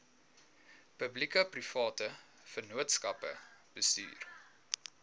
publiekeprivate vennootskappe bestuur